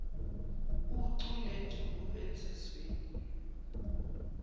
ucu neduku ensizweni